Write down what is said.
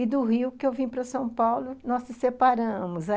E do Rio, que eu vim para São Paulo, nós nos separamos.